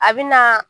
A bɛ na